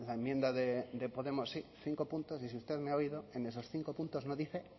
enmienda de podemos sí cinco puntos y si usted me ha oído en esos cinco puntos no dice